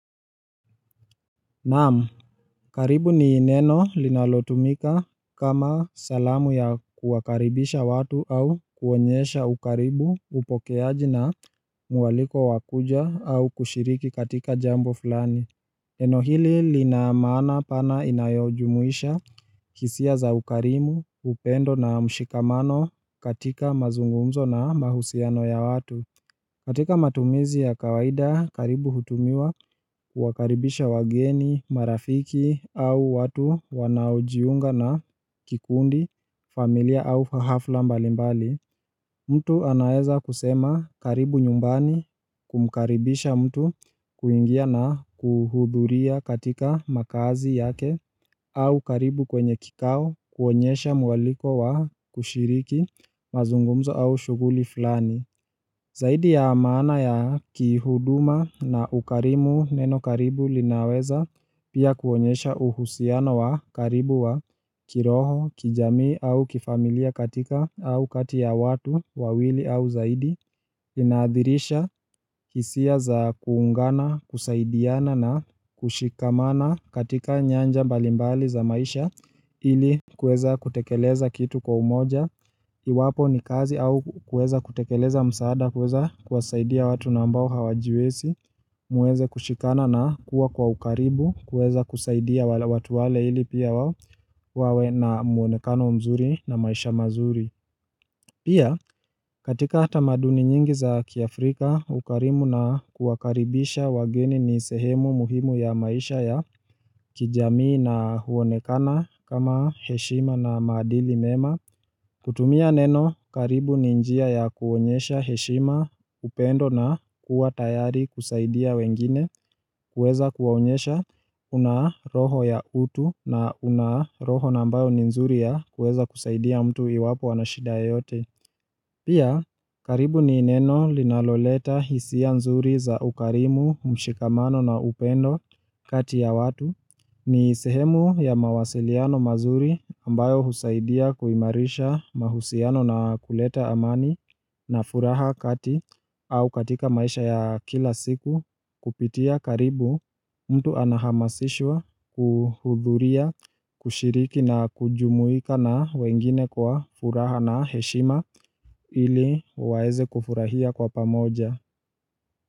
Naam, karibu ni neno linalotumika kama salamu ya kuwakaribisha watu au kuonyesha ukaribu upokeaji na mwaliko wa kuja au kushiriki katika jambo fulani. Neno hili lina maana pana inayojumuisha hisia za ukarimu, upendo na mshikamano katika mazungumzo na mahusiano ya watu. Katika matumizi ya kawaida karibu hutumiwa kuwakaribisha wageni, marafiki au watu wanaojiunga na kikundi, familia au hafla mbalimbali mtu anaweza kusema karibu nyumbani kumkaribisha mtu kuingia na kuhudhuria katika makazi yake au karibu kwenye kikao kuonyesha mwaliko wa kushiriki mazungumzo au shughuli fulani Zaidi ya maana ya kihuduma na ukarimu neno karibu linaweza pia kuonyesha uhusiano wa karibu wa kiroho kijamii au kifamilia katika au kati ya watu wawili au zaidi Inaadhirisha hisia za kuungana, kusaidiana na kushikamana katika nyanja mbalimbali za maisha ili kuweza kutekeleza kitu kwa umoja Iwapo ni kazi au kuweza kutekeleza msaada kuweza kuwasaidia watu na ambao hawajiwezi Mweze kushikana na kuwa kwa ukaribu kuweza kusaidia watu wale ili pia wawe na mwonekano mzuri na maisha mazuri Pia, katika tamaduni nyingi za kiafrika, ukarimu na kuwakaribisha wageni ni sehemu muhimu ya maisha ya kijamii na huonekana kama heshima na maadili mema. Kutumia neno, karibu ni njia ya kuonyesha heshima upendo na kuwa tayari kusaidia wengine, kuweza kuwaonyesha una roho ya utu na una roho na ambayo ni nzuri ya kuweza kusaidia mtu iwapo wana shida yoyote. Pia, karibu ni neno linaloleta hisia nzuri za ukarimu, mshikamano na upendo kati ya watu ni sehemu ya mawasiliano mazuri ambayo husaidia kuimarisha mahusiano na kuleta amani na furaha kati au katika maisha ya kila siku kupitia karibu mtu anahamasishwa kuhudhuria, kushiriki na kujumuika na wengine kwa furaha na heshima ili waweze kufurahia kwa pamoja.